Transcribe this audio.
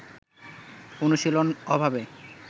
অনুশীলন অভাবে